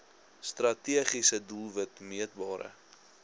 strategiese doelwit meetbare